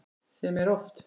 Sem er oft.